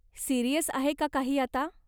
Serious आहे का काही आता?